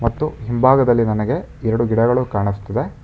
ಮತ್ತು ಹಿಂಭಾಗದಲ್ಲಿ ನನಗೆ ಎರಡು ಗಿಡಗಳು ಕಾಣಿಸ್ತಿದೆ.